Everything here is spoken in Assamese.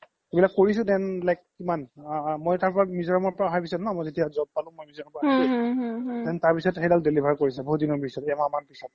এইবিলাক কৰিছো then like কিমান আ মই তাৰ পৰা মিজোৰাম ৰ পৰা আহাৰ পিছ্ত ন মই যেতিয়া job পালো মই মিজোৰাম then তাৰ পিছ্ত সেই দাল deliver কৰিছে বহুত দিনৰ পিছ্ত এমাহ মান পিছ্ত